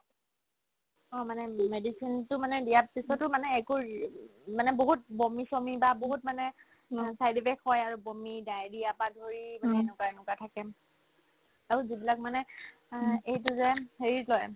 অ, মানে medicine তো মানে দিয়াত পিছতো মানে একো ৰি উম মানে বহুত বমি-চমি বা বহুত মানে side effect হয় আৰু বমি, ডায়েৰিয়া পাই ধৰি মানে এনেকুৱা এনেকুৱা থাকে আৰু যিবিলাক মানে অ এইটো যে হেৰিত লই